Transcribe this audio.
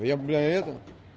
я бля это